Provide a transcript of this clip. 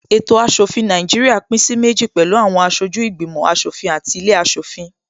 Ètò aṣòfin Nàìjíríà pín sí méjì pẹ̀lú àwọn aṣojú ìgbìmò aṣòfin àti ilé aṣòfin